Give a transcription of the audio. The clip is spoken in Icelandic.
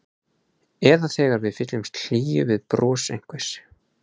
Eða þegar við fyllumst hlýju við bros einhvers.